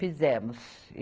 Fizemos.